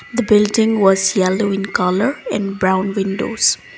the building was yellow in colour in brown windows.